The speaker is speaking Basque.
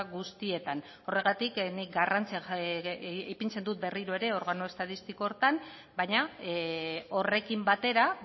guztietan horregatik nik garrantzia ipintzen dut berriro ere organo estatistiko horretan baina horrekin batera